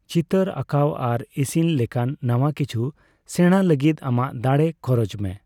ᱪᱤᱛᱟᱹᱨ ᱟᱸᱠᱟᱣ ᱟᱨ ᱤᱥᱤᱱ ᱞᱮᱠᱟᱱ ᱱᱟᱣᱟ ᱠᱤᱪᱷᱩ ᱥᱮᱬᱟ ᱞᱟᱹᱜᱤᱫ ᱟᱢᱟᱜ ᱫᱟᱲᱮ ᱠᱷᱚᱨᱚᱡ ᱢᱮ᱾